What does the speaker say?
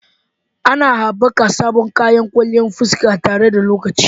Ana haɓaka sabbin kayan kwalliyan fuska tare da lokaci.